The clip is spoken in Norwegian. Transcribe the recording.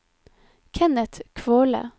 Kenneth Kvåle